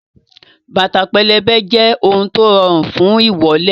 Bàtà pẹlẹbẹ jẹ́ ohun tó rọrùn fún ìwọ́lẹ̀